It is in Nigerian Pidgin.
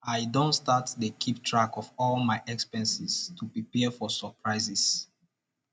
i don start dey keep track of all my expenses to prepare for surprises